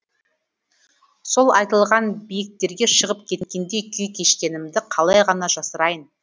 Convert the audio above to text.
сол айтылған биіктерге шығып кеткендей күй кешкенімді қалай ғана жасырайын